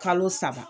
Kalo saba